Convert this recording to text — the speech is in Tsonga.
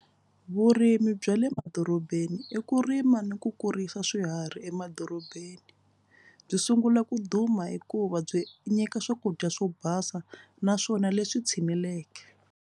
Vurimi bya le madorobeni i ku rima ni ku kurisa swiharhi emadorobeni. Byi sungula ku duma hikuva byi nyika swakudya swo basa naswona leswi tshineleke.